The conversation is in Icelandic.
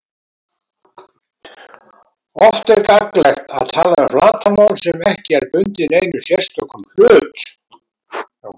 Oft er gagnlegt að tala um flatarmál sem ekki er bundið neinum sérstökum hlut.